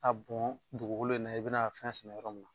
A bɔn dugukolo in na i bɛna fɛn sɛnɛ yɔrɔ min na.